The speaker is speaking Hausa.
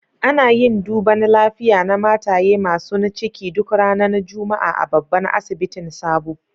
Ana yin duban lafiya na mataye masun ciki duk ranan Juma'a a'babban asibitin Sabo.